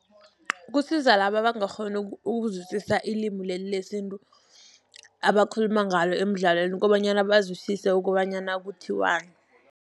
Kusiza laba abangakghoni ukuzwisisa ilimi leli lesintu, abakhuluma ngalo emidlalweni kobanyana bazwisise ukobanyana kuthiwani.